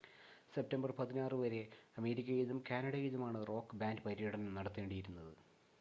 September 16 വരെ അമേരിക്കയിലും കാനഡയിലുമാണ് റോക്ക് ബാൻഡ് പര്യടനം നടത്തേണ്ടിയിരുന്നത്